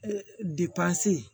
Depansi